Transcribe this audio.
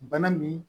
Bana min